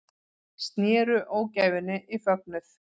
Snéru ógæfunni í fögnuð